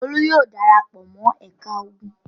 Olú yóò dara pọ̀ mọ́ ẹ̀ka ogun!